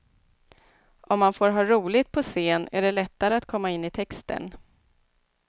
Om man får ha roligt på scen är det lättare att komma in i texten.